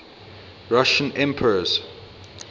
russian emperors